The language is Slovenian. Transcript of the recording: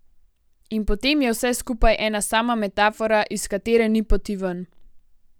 In potem je vse skupaj ena sama metafora, iz katere ni poti ven.